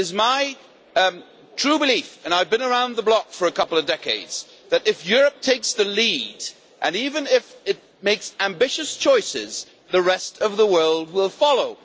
It is my true belief and I have been around for a couple of decades that, if Europe takes the lead even if it makes ambitious choices the rest of the world will follow.